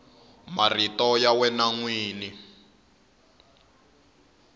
marito ya wena n wini